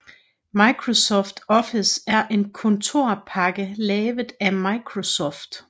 Microsoft Office er en kontorpakke lavet af Microsoft